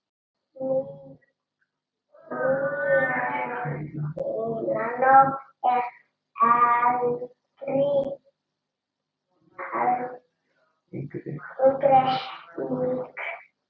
Mílanó er engri lík!!